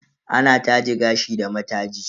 Ana taje gashi da mataji.